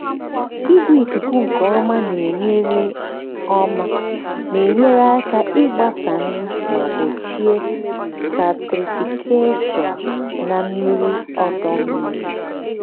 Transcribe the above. igwe ikuku nke ọma na-enyere ọma na-enyere aka ịgbasa nri ma gbochie stratification na mmiri ọdọ mmiri.